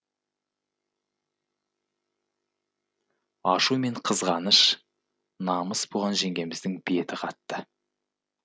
ашу мен қызғаныш намыс буған жеңгеміздің беті қатты